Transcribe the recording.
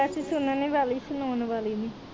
ਬਸ ਸੁਣਨੇ ਵਾਲੀ ਸਣਾਉਣ ਵਾਲੀ ਨੀ